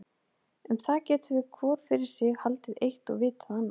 Um það getum við, hvor fyrir sig, haldið eitt og vitað annað.